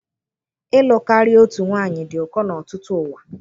Ịlụ karịa otu nwanyị dị ụkọ n'ọtụtụ ụwa